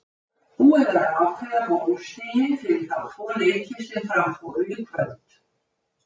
Búið er að ákveða bónusstigin fyrir þá tvo leiki sem fram fóru í kvöld.